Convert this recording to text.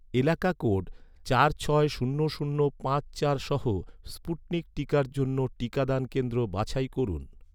এলাকা কোড চার ছয় শূন্য শূন্য পাঁচ চার সহ স্পুটনিক টিকার জন্য টিকাদান কেন্দ্র বাছাই করুন